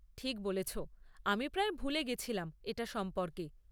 ঠিক বলেছ, আমি প্রায় ভুলে গেছিলাম এটা সম্পর্কে।